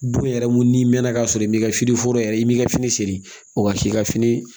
Bon yɛrɛ mun ni mɛnna ka sɔrɔ i m'i ka fini foro yɛrɛ i b'i ka fini siri o ka f'i ka fini